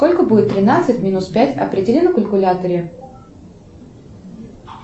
сколько будет тринадцать минус пять определи на калькуляторе